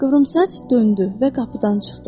Qıvrımsaç döndü və qapıdan çıxdı.